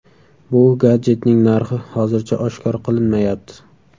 Bu gadjetning narxi hozircha oshkor qilinmayapti.